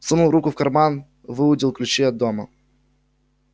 сунул руку в карман выудил ключи от дома